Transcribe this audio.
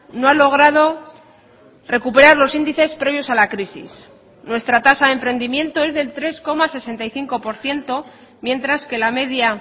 no ha logrado recuperar los índices previos a la crisis nuestra tasa de emprendimiento es del tres coma sesenta y cinco por ciento mientras que la media